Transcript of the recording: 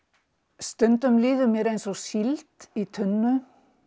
stundum líður mér eins og síld í tunnu